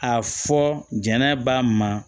A fɔ jɛnna ba ma